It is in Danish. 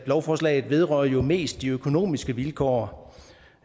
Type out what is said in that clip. lovforslaget vedrører jo mest de økonomiske vilkår